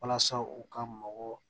Walasa u ka mɔgɔ